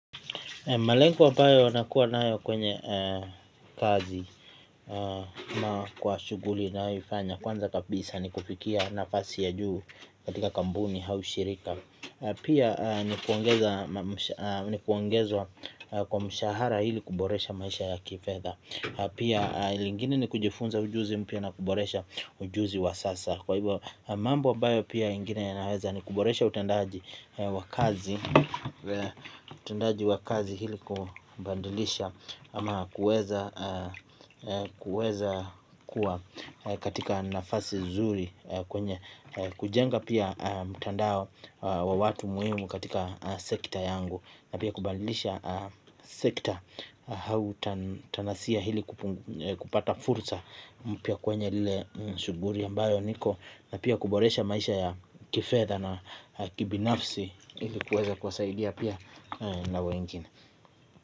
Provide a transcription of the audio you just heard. Malengo ambayo nakua naayo kwenye kazi kwa shuguli na yoifanya. Kwanza kapisa ni kufikia nafasi ya juu katika kambuni hau shirika na pia ni kuongezwa kwa mshahara hili kuboresha maisha ya kifedha. Pia lingine ni kujifunza ujuzi mpya na kuboresha ujuzi wa sasa. Kwa hivo mambo ambayo pia ingine naweza ni kuboresha utendaji wa kazi utendaji wa kazi hili kubandilisha ama kuweza kuwa katika nafasi zuri kwenye kujenga pia mtandao wa watu muhimu katika sekta yangu. Na pia kubandilisha sekta. Hau tanasiya hili kupata fursa. Pia kwenye lile shuguri ambayo niko na pia kuboresha maisha ya kifetha na kibinafsi ilikuweza kuwasaidia pia na wengine.